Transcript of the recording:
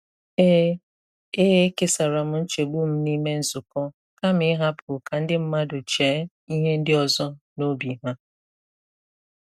E E kèsàrà m nchegbù m n’ìmè nzúkọ kàma ihapu ka ndi mmadụ chee ihe ndi ọzọ n'óbi ha.